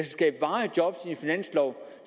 skabe varige job